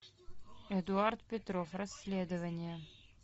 эдуард петров расследование